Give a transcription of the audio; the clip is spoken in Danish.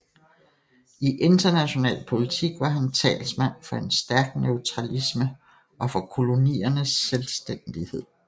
I international politik var han talsmand for en stærk neutralisme og for koloniernes selvstændighed